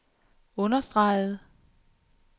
understregede